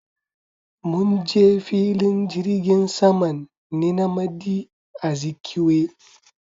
Munje filin jirgin saman nnamdi Azikiwe